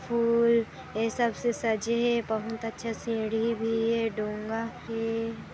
फूल ए सब से सजे है बहुत अच्छे सीढ़ी भी है डोंगा हे ।